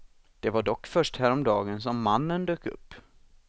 Det var dock först häromdagen som mannen dök upp.